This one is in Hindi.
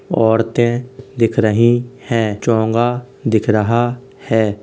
औरते दिख रही है। चोंगा दिख रहा हैं।